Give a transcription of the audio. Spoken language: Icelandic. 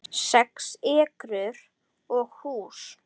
Sex ekrur og hús